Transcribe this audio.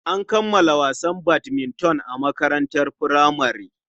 An kammala wasan badminton a makarantar furamare.